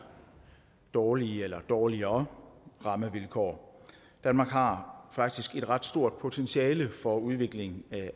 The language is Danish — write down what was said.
dårlige eller dårligere rammevilkår danmark har faktisk et ret stort potentiale for udvikling af